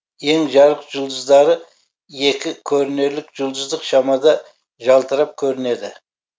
ең жарық жұлдыздары екі көрінерлік жұлдыздық шамада жалтырап көрінеді